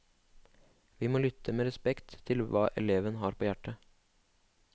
Vi må lytte med respekt til hva eleven har på hjertet.